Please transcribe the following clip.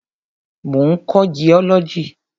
Mo ń kọ́ jiọ́lọ́jì.